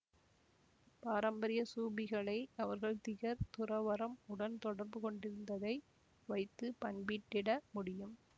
பாரம்பரிய சூபிகளை அவர்கள் திகர் துறவறம் உடன் தொடர்புகொண்டிருந்ததை வைத்து பண்பிட்டிட முடியும்